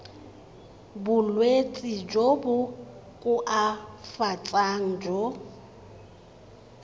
bolwetsi jo bo koafatsang jo